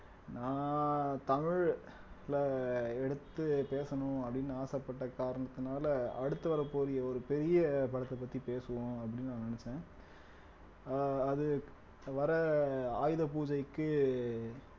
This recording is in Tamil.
நான் தமிழ் ல~ எடுத்து பேசணும் அப்படின்னு ஆசைப்பட்டு காரணத்தினால அடுத்து வரக்கூடிய ஒரு பெரிய படத்தை பத்தி பேசுவோம் அப்படின்னு நான் நினைச்சேன் ஆஹ் அது வர்ற ஆயுத பூஜைக்கு